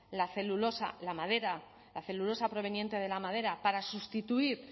la celulosa la madera la celulosa proveniente de la madera para sustituir